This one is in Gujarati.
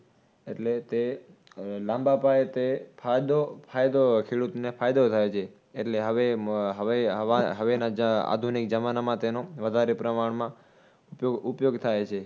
એટલે તે લાંબા પાયે તે ફાયદો, ફાયદો, ખેડૂતને ફાયદો થાય છે. એટલે હવે, અમ હવે હવા હવેના આધુનિક જમાનમાં તેનો વધારે પ્રમાણમાં ઉપયોગ ઉપયોગ થાય છે